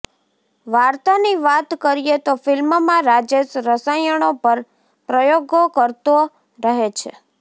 વાર્તાની વાત કરીએ તો ફિલ્મમાં રાજેશ રસાયણો પર પ્રયોગો કરતો રહે છે